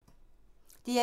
DR1